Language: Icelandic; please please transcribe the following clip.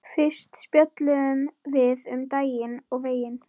Fyrst spjölluðum við um daginn og veginn.